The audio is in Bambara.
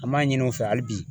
An b'a ɲini u fɛ hali bi